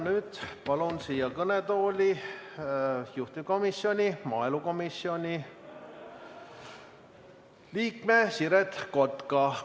Nüüd palun siia kõnetooli juhtivkomisjoni ehk maaelukomisjoni liikme Siret Kotka.